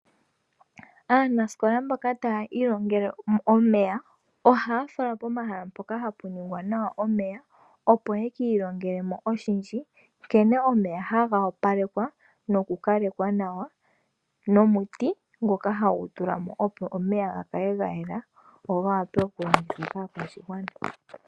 Aanasikola mboka taya ilongele omeya , ohaya falwa pomahala mpoka hapu ningwa nawa omeya opo ye ki ilongele mo oshindji nkene omeya haga opalekwa noku kalekwa nawa ,nomuti ngoka hagu tulwa mo opo omeya ga kale ga yela go ga wape okulongithwa kaakwashigwana.